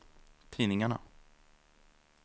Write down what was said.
tidningarna